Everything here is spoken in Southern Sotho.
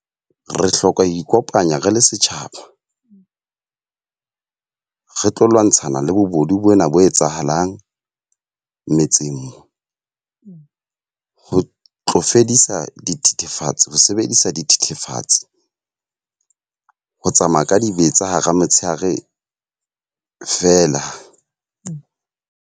Re hloka ho ikopanya re le setjhaba re tlo lwantshana le bobodu bona bo etsahalang, metseng mo. Ho tlo fedisa dithethefatsi ho sebedisa dithethefatsi. Ho tsamaya ka dibetsa hara motshehare feela.